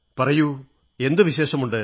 പറയൂ എന്തു വിശേഷമുണ്ട്